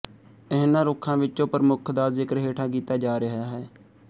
ਇਹਨਾਂ ਰੁੱਖਾਂ ਵਿਚੋਂ ਪ੍ਰਮੁੱਖ ਦਾ ਜ਼ਿਕਰ ਹੇਠਾਂ ਕੀਤਾ ਜਾ ਰਿਹਾ ਹੈ